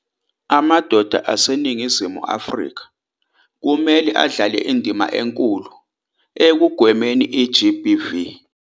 Amadoda aseNingizimu Afrika kumele adlale indima enkulu ekugwemeni i-GBV.